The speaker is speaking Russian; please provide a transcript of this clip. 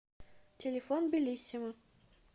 телефон беллиссимо